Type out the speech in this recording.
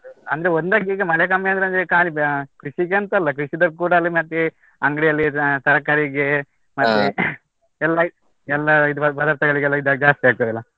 ಅಂದ್ರೆ ಈಗ ಮಳೆ ಕಮ್ಮಿ ಆದ್ರೆ ಒಂದು ಖಾಲಿ ಹಾ, ಕೃಷಿಗೆಂತಲ್ಲ ಮಧ್ಯೆ ಅಂಗಡಿಯಲ್ಲಿದ್ದ ತರಕಾರಿಗೆ ಎಲ್ಲಾ ಎಲ್ಲಾ ಇದು ಪದಾರ್ಥಗಳಿಗೆಲ್ಲ ಇದ್ ಜಾಸ್ತಿ ಆಗ್ತದಲ್ಲ.